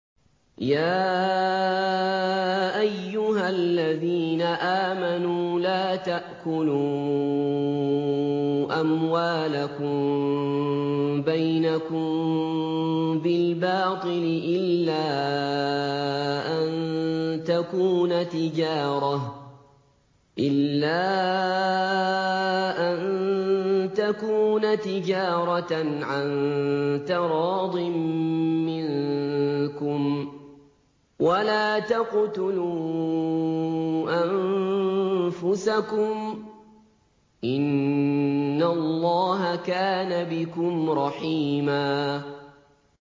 يَا أَيُّهَا الَّذِينَ آمَنُوا لَا تَأْكُلُوا أَمْوَالَكُم بَيْنَكُم بِالْبَاطِلِ إِلَّا أَن تَكُونَ تِجَارَةً عَن تَرَاضٍ مِّنكُمْ ۚ وَلَا تَقْتُلُوا أَنفُسَكُمْ ۚ إِنَّ اللَّهَ كَانَ بِكُمْ رَحِيمًا